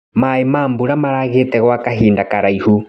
Maĩ ma mbura maragĩte gwa kahinda karaihu.